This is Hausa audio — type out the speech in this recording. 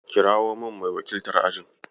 Kirawo min mai wakiltar ajin.